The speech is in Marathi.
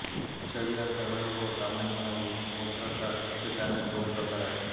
छडिया सरळ व कमानिया वक्राकार असे त्याचे दोन प्रकार आहेत